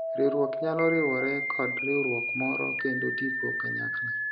riwruok nyalo riwore kod riwruok moro kendo tiypo kanyakla